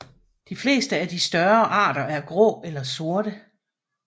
De fleste af de større arter er grå eller sorte